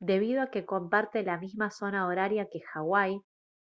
debido a que comparte la misma zona horaria que hawái